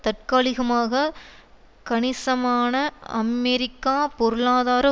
தற்காலிகமாக கணிசமான அமெரிக்கா பொருளாதார